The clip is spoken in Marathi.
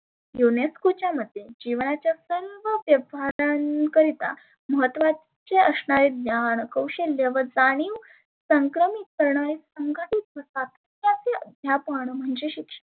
युनेस्कोच्या मते जिवणाच्या सर्व व्यवहारांकरीता महत्वाचे असणारे ज्ञान कौशल्य व जानिव संक्रमीत करणारे संघटीत वसाहत त्याचे अध्यापण म्हणजे शिक्षण होय.